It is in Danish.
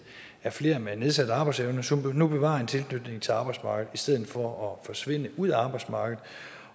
er flere med nedsat arbejdsevne som nu bevarer en tilknytning til arbejdsmarkedet i stedet for at forsvinde ud af arbejdsmarkedet